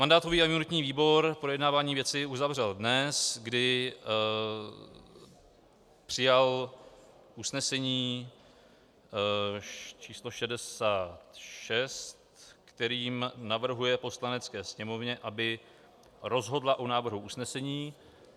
Mandátový a imunitní výbor projednávání věci uzavřel dnes, kdy přijal usnesení číslo 66, kterým navrhuje Poslanecké sněmovně, aby rozhodla o návrhu usnesení.